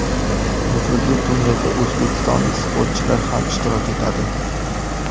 Nufuzli turnirda o‘zbekistonlik sportchilar ham ishtirok etadi.